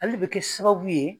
Ale le bɛ kɛ sababu ye